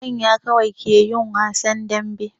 Manya kawai ke yin wasan dambe.